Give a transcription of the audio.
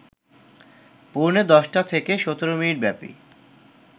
পৌনে ১০টা থেকে ১৭ মিনিটব্যাপী